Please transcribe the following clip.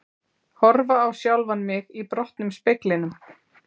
Horfa á sjálfan mig í brotnum speglinum.